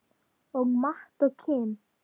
Og Matt og Kim?